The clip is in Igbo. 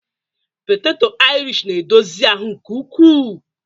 poteto irish na-edozi ahụ nke ukwuu